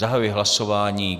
Zahajuji hlasování.